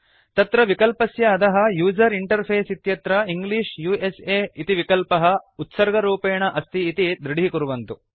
तत्र विकल्पस्य अधः यूजर इंटरफेस इत्यत्र इंग्लिश उस इति विकल्पः उत्सर्गरूपेण अस्ति इति दृढीकुर्वन्तु